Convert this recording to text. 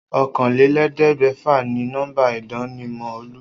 Oókanlelé̩gbè̩fà ni nó̩mbà ìdánimò̩ Olú